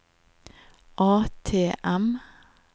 ATM